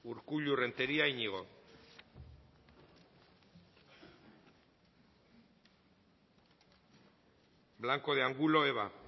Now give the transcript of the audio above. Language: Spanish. urkullu renteria iñigo blanco de angulo eva